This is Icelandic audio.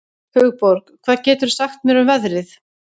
Hugborg, hvað geturðu sagt mér um veðrið?